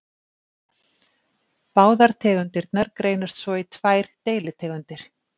Báðar tegundirnar greinast svo í tvær deilitegundir.